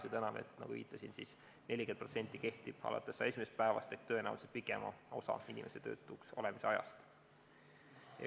See tänane 40% kehtib, nagu ma viitasin, alates 101. päevast ehk tõenäoliselt pikema osa inimese töötuks olemise ajast.